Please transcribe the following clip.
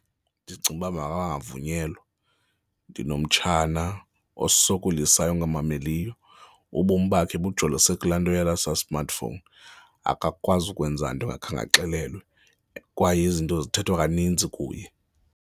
Ndicinga ukuba mabangavunyelwa. Ndinomtshana osokolisayo, ongamameliyo ubomi bakhe bujolise kulaa nto yale sa-smartphone, akakwazi ukwenza into engakhange axelelwe kwaye izinto zithethwa kaninzi kuye.